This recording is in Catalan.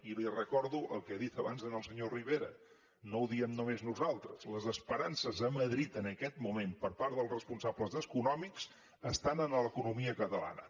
i li recordo el que he dit abans al senyor rivera no ho diem només nosaltres les esperances a madrid en aquest moment per part dels responsables econòmics estan en l’economia catalana